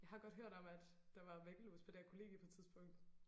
Jeg har godt hørt om at der var væggelus på det her kollegie på et tidspunkt